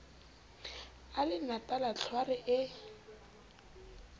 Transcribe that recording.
a le natala tlhware e